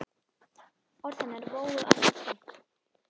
Orð hennar vógu alltaf þungt.